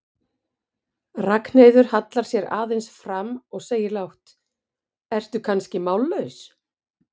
Ragnheiður hallar sér aðeins fram og segir lágt, ertu kannski mállaus?